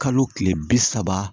Kalo tile bi saba